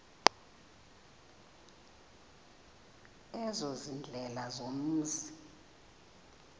ezo ziindlela zomzi